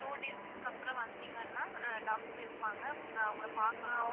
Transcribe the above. Two days க்கு அப்பறம் வந்தீங்கனா doctor இருப்பாங்க நீங்க அவங்கள பாக்கலாம்.